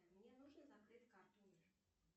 мне нужно закрыть карту мир